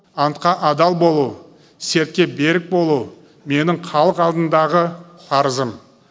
антқа адал болу сертке берік болу менің халық алдындағы парызым